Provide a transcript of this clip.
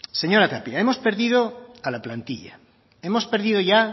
señora tapia hemos perdido a la plantilla hemos perdido ya